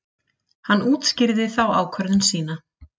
Hann útskýrði þá ákvörðun sína.